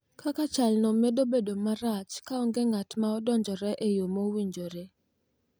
Kaka chalno nyalo medo bedo marach ka onge ng’at ma odonjore e yo mowinjore.